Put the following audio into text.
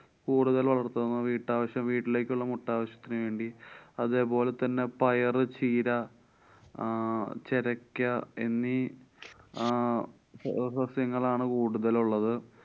കൂടുതല്‍ വളര്‍ത്തുന്നത്. വീട്ടവശ്യ~ വീട്ടിലേക്കുള്ള മുട്ട ആവശ്യത്തിനു വേണ്ടി. അതേപോലെതന്നെ പയര്‍, ചീര, അഹ് ചെരക്ക എന്നീ ആഹ് സ~സസ്യങ്ങളാണ് കൂടുതല്‍ ഉള്ളത്.